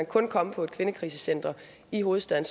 kun komme på et kvindekrisecenter i hovedstaden